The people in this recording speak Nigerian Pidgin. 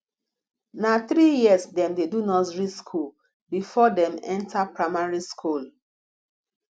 na three years dem dey do nursery skool before dem enter primary skool